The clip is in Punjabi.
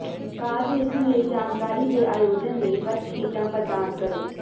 ਕਾਰਜ ਲਿਖਣ ਲਈ ਜਾਣਕਾਰੀ ਦੇ ਆਯੋਜਨ ਲਈ ਵਰਕਸ਼ੀਟਾਂ ਪ੍ਰਦਾਨ ਕਰੋ